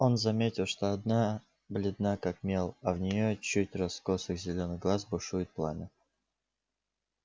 он заметил что одна бледна как мел а в неё чуть раскосых зелёных глаз бушует пламя